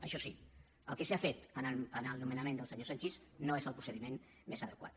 això sí el que s’ha fet en el nomenament del senyor sanchis no és el procediment més adequat